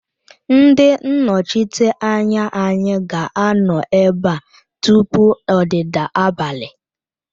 Ndị nnọchiteanya anyị ga-anọ ebe a tupu ọdịda abalị